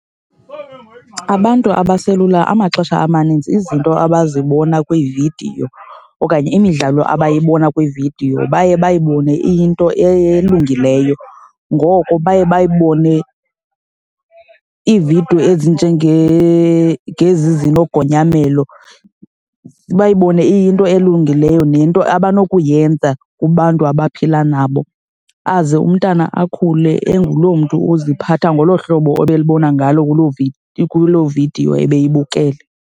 Abantu abaselula amaxesha amaninzi izinto abazibona kwiividiyo okanye imidlalo abayiboni kwiividiyo baye bayibone iyinto elungileyo. Ngoko baye bayibone iividiyo ngezi zinogonyamelo, bayibone iyinto elungileyo nento abanokuyenza kubantu abaphila nabo aze umntana akhule enguloo mntu uziphatha ngolo hlobo ebelibona ngalo kuloo kuloo vidiyo ebeyibukele.